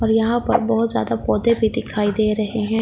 और यहां पर बहोत ज्यादा पौधे भी दिखाई दे रहे हैं।